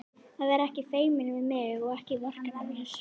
Að vera ekki feiminn við mig og ekki vorkenna mér!